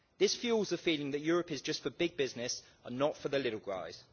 This fuels a feeling that Europe is just for big business and not for the little guys.